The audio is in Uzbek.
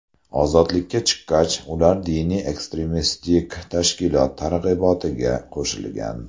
Ozodlikka chiqqach, ular diniy-ekstremistik tashkilot targ‘ibotiga qo‘shilgan.